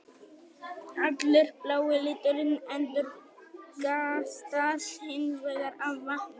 Allur blái liturinn endurkastast hins vegar af vatninu.